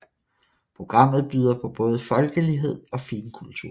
Programmet byder på både folkelighed og finkultur